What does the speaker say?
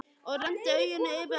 Og renndi augunum yfir á hópinn.